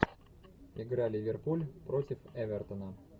игра ливерпуль против эвертона